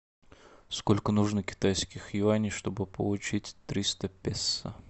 сколько нужно китайских юаней чтобы получить триста песо